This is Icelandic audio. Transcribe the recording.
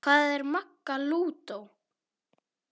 Hvað með Magga lúdó?